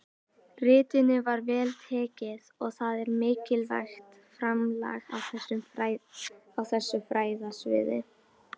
Ritinu var vel tekið og það er mikilvægt framlag á þessu fræðasviði.